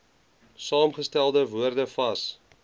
saamgestelde woorde vas